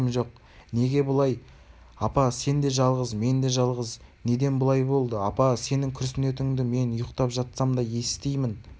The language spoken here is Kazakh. неге бұлай апа сен де жалғыз мен де жалғыз неден бұлай болды апа сенің күрсінетініңді мен ұйықтап жатсам да есітемін